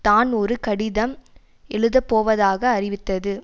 தான் ஒரு கடிதம் எழுதப்போவதாக அறிவித்தது